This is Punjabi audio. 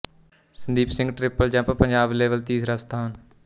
Sandeep Singh triple jump Punjab level ਤੀਸਰਾ ਸਥਾਨ